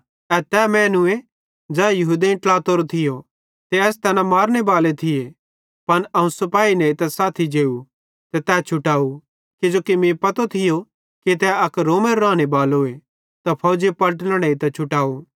ए तै मैनूए ज़ै यहूदेईं ट्लातोरो थियो ते एस तैना मारनेबाले थिये त अवं सिपाही नेइतां साथी जेव ते तै छुटाव किजोकि मीं पतो थियो कि तै अक रोमेरो रानेबालोए त फौजी पलटन नेइतां छुटाव